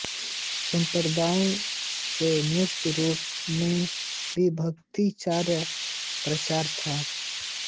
सम्प्रदायों से मुक्त रूप में भी भक्ति का प्रचार था